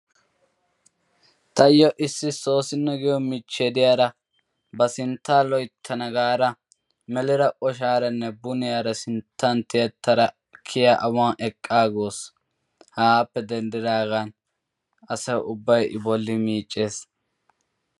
tayoo issi soosino giyoo michchiyaa de'iyaara ba sinttaa loyttana gaada melira oshshaaranne buniyaara sinttan tiyettar kiyya awaan eqqa agawus. hegaappe denddigaan asay ubbay i bolli miiccees.